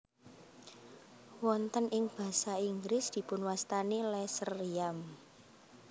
Wonten ing basa Inggris dipunwastani lesser yam